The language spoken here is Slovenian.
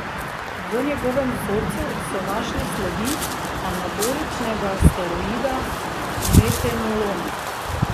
V njegovem vzorcu so našli sledi anaboličnega steroida metenolona.